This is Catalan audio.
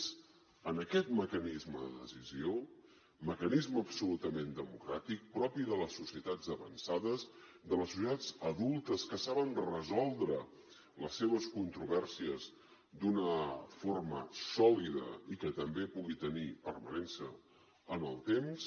és en aquest mecanisme de decisió mecanisme absolutament democràtic propi de les societats avançades de les societats adultes que saben resoldre les seves controvèrsies d’una forma sòlida i que també pugui tenir permanència en el temps